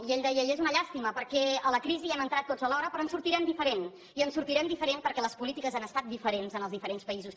i ell deia i és una llàstima perquè a la crisi hi hem entrat tots alhora però en sortirem diferent i en sortirem diferent perquè les polítiques han estat diferents en els diferents països